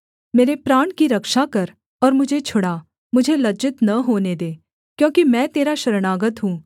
मेरे प्राण की रक्षा कर और मुझे छुड़ा मुझे लज्जित न होने दे क्योंकि मैं तेरा शरणागत हूँ